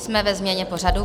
Jsme ve změně pořadu.